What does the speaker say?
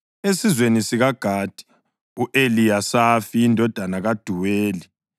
esizweni sikaGadi, u-Eliyasafi indodana kaDuweli;